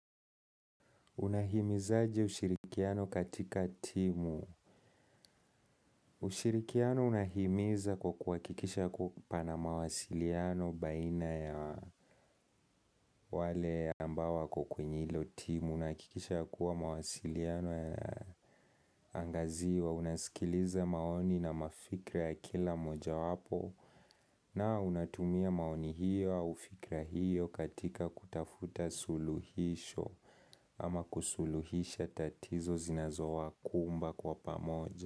Unahimizaje ushirikiano katika timu. Ushirikiano unahimiza kwa kuhakikisha kuwa pana mawasiliano baina ya wale ambao wako kwenye hilo timu. Unahakikisha ya kuwa mawasiliano yana angaziwa. Unasikiliza maoni na mafikra ya kila moja wapo. Na unatumia maoni hiyo au fikra hiyo katika kutafuta suluhisho ama kusuluhisha tatizo zinazowakumba kwa pamoja.